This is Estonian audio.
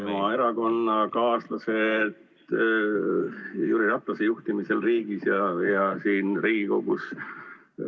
... oma erakonnakaaslase Jüri Ratase juhtimisel riigis ja siin Riigikogus.